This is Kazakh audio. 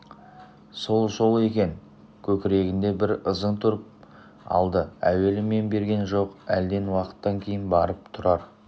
сол-сол екен көкірегінде бір ызың тұрып алды әуелі мән берген жоқ әлден уақыттан кейін барып тұрар